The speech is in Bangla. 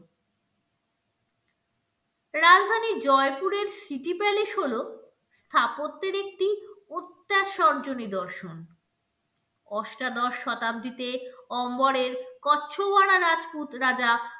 রাজধানী জয়পুরের স্মৃতি palace হলো স্থাপত্যের একটি নিদর্শন অষ্টাদশ শতাব্দীতে অম্বরের কচ্ছয়ারা রাজপুত রাজা